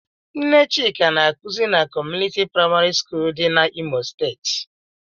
Nne Chika na-akuzi na Community Praịmarị skul dị n'Imo steeti.